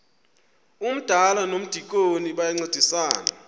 umdala nomdikoni bayancedisana